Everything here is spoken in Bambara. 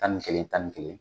Tan ni kelen tan ni kelen.